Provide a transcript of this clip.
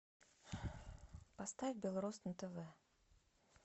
поставь беларусь на тв